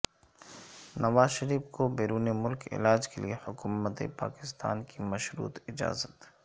نوازشریف کو بیرون ملک علاج کیلئے حکومت پاکستان کی مشروط اجازت